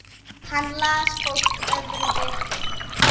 Hann las fólk öðrum betur.